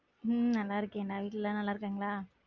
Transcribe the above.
உம் நல்லா இருக்கேன் டா வீட்ல எல்லாரும் நல்லா இருக்காங்கலா?